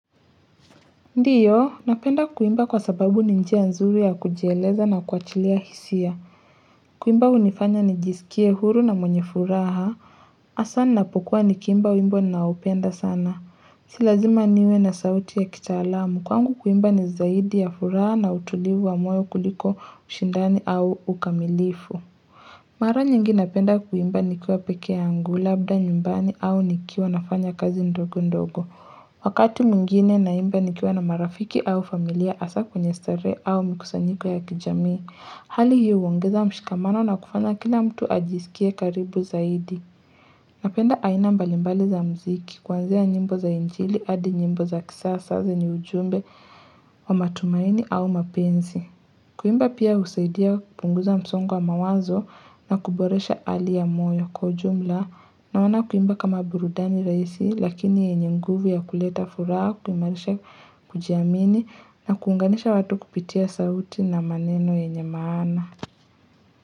Ndiyo napenda kuimba kwa sababu ni njia nzuri ya kujieleza na kuachilia hisia kuimba hunifanya nijisikie huru na mwenye furaha hasa napokuwa nikiimba wimbo naupenda sana si lazima niwe na sauti ya kitaalam kwangu kuimba ni zaidi ya furaha na utulivu wa moyo kuliko ushindani au ukamilifu Mara nyingi napenda kuimba nikiwa peke yangu labda nyumbani au nikiwa nafanya kazi ndogo ndogo. Wakati mwingine naimba nikiwa na marafiki au familia hasa kwenye starehe au mikusanyiko ya kijamii. Hali hiyo huongeza mshikamano na kufanya kila mtu ajisikie karibu zaidi. Napenda aina mbalimbali za muziki kwanzia nyimbo za injili hadi nyimbo za kisasa zenye ujumbe wa matumaini au mapenzi. Kuimba pia husaidia kupunguza msongo wa mawazo na kuboresha hali ya moyo kwa jumla naona kuimba kama burudani rahisi lakini yenye nguvu ya kuleta furaha, kuimarisha kujiamini na kuunganisha watu kupitia sauti na maneno yenye maana.